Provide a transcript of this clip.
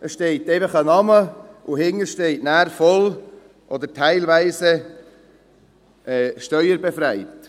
Es steht ein Name, und dahinter steht «voll oder teilweise steuerbefreit».